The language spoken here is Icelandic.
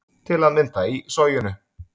Til að mynda í Soginu